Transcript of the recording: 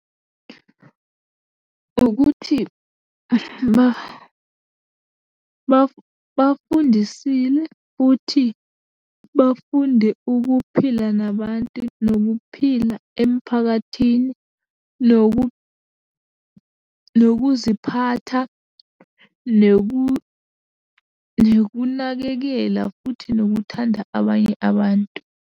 Ukuthi bafundisile futhi bafunde ukuphila nabantu, nokuphila emphakathini, nokuziphatha, nokunakekela futhi nokuthanda abanye abantu.